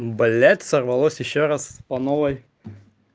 блядь сорвалось ещё раз по новой